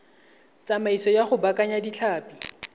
tsamaiso ya go baakanya ditlhapi